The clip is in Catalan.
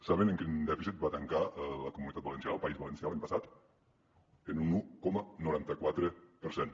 saben en quin dèficit va tancar la comunitat valenciana el país valencià l’any passat en un un coma noranta quatre per cent